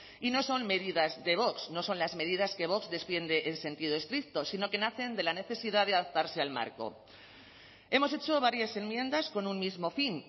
y no son medidas de vox no son las medidas que vox defiende en sentido estricto sino que nacen de la necesidad de adaptarse al marco hemos hecho varias enmiendas con un mismo fin